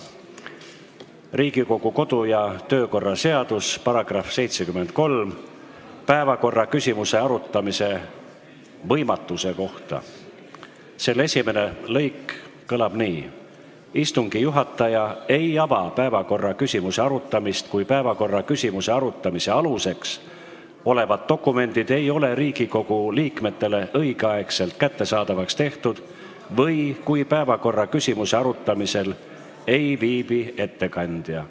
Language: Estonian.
Riigikogu kodu- ja töökorra seaduse § 73 "Päevakorraküsimuse arutamise võimatus" esimene lõik kõlab nii: "Istungi juhataja ei ava päevakorraküsimuse arutamist, kui päevakorraküsimuse arutamise aluseks olevad dokumendid ei ole Riigikogu liikmetele õigeaegselt kättesaadavaks tehtud või kui päevakorraküsimuse arutamisel ei viibi ettekandja.